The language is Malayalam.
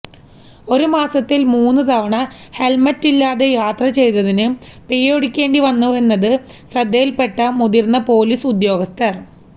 ഒരേ മാസത്തില് മൂന്നു തവണ ഹെല്മെറ്റില് ഇല്ലാതെ യാത്ര ചെയ്തതിന് പിഴയൊടുക്കേണ്ടി വന്നുവെന്നത് ശ്രദ്ധയില്പ്പെട്ട മുതിര്ന്ന പൊലീസ് ഉദ്യോഗസ്ഥര്